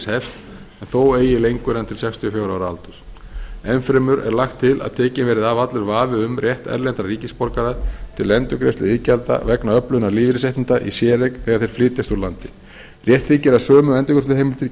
en þó eigi lengur en til sextíu og fjögur á ára aldurs enn fremur er lagt til að tekinn verði af allur vafi um rétt erlendra ríkisborgara til endurgreiðslu iðgjalda vegna öflunar lífeyrisréttinda í séreign þegar þeir flytjast úr landi rétt þykir að sömu endurgreiðsluheimildir gildi í